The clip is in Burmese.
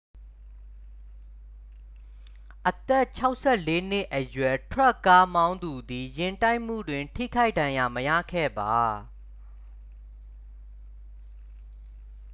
အသက် 64 နှစ်အရွယ် ထရပ်ကားမောင်းသူသည် ယာဉ်တိုက်မှုတွင် ထိခိုက်ဒဏ်ရာမရခဲ့ပါ